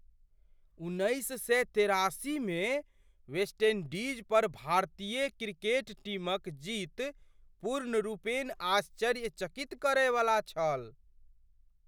उन्नैस सए तेरासीमे वेस्ट इंडीज़ पर भारतीय क्रिकेट टीमक जीत पूर्णरूपेण आश्चर्यचकित करयवला छल!